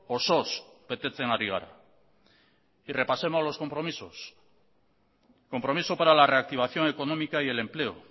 osoz betetzen ari gara y repasemos los compromisos compromiso para la reactivación económica y el empleo